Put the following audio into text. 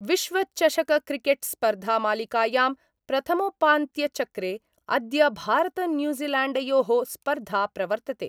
विश्वचषकक्रिकेटस्पर्धामालिकायां प्रथमोपान्त्यचक्रे अद्य भारतन्यूजीलैण्डयो: स्पर्धा प्रवर्तते।